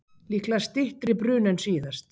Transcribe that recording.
Líklega styttri bruni en síðast